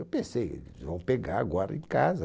Eu pensei, eles vão pegar agora em casa.